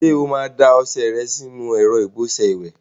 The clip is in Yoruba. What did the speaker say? Ṣé o máa da ọṣẹ ìwẹ̀ rẹ sínú ẹ̀rọ ìbọṣẹ ìwẹ̀?